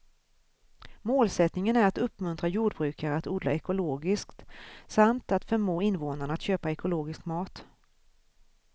Målsättningen är att uppmuntra jordbrukare att odla ekologiskt samt att förmå invånarna att köpa ekologisk mat.